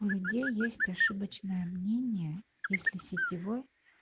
у людей есть ошибочное мнение если сетевой